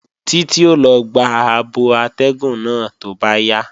Títí ó lọ gba abọ atẹ́gùn náà tó bá yá